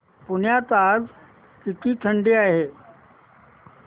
पुण्यात आज किती थंडी आहे